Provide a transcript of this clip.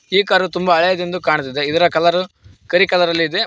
ಈ ಕಾರು ತುಂಬ ಹಳೇದೆಂದು ಕಾಣ್ತಿದೆ ಇದರ ಕಲರ್ ಕರಿ ಕಲರಲ್ಲಿ ಇದೆ.